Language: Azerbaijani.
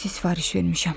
Taksi sifariş vermişəm.